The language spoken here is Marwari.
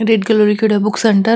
रेड कलर लीखेड़ो है बुक सेंटर ।